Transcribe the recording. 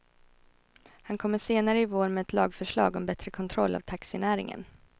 Han kommer senare i vår med ett lagförslag om bättre kontroll av taxinäringen.